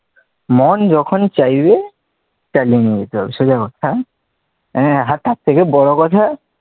মন যখন চাইবে চালিয়ে নিয়ে যেতে হবে সোজা কথা হ্যাঁ, হ্যাঁ তার থেকে বড় কথা,